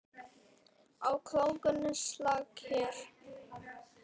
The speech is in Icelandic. Á klónni máski slaka hér.